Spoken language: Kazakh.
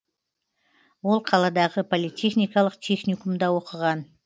ол қаладағы политехникалық техникумда оқыған